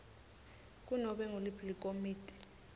kunobe nguliphi likomiti